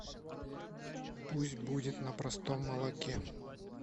пусть будет на простом молоке